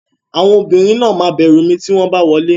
Àwọn obìnrin náà máa bẹ̀rù mi tí wọ́n bá wọlé.